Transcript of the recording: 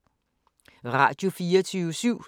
Radio24syv